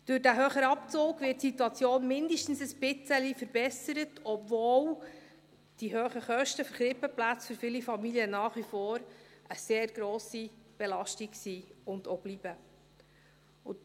Durch den höheren Abzug wird die Situation zumindest ein bisschen verbessert, obwohl die hohen Kosten der Krippenplätze für viele Familien nach wie vor eine sehr grosse Belastung sind und es auch bleiben.